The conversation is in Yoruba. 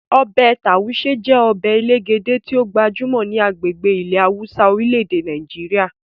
Ọbẹ Tauṣe je ọbẹ elegede ti o gbajumo ni agbegbe ile hausa orile-ede Nàìjíríà.